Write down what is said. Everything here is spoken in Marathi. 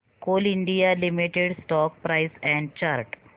Coal India Limited stock price and chart